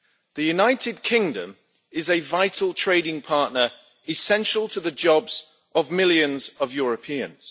The United Kingdom is a vital trading partner essential to the jobs of millions of Europeans.